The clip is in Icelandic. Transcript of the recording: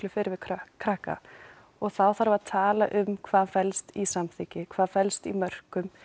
fyrr við krakka krakka og þá þarf að tala um hvað felst í samþykki hvað felst í mörkum